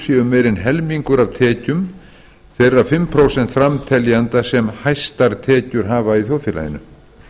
séu meira en helmingur af tekjum þeirra fimm prósent framteljenda sem hæstar tekjur hafa í þjóðfélaginu